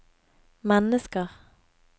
mennesker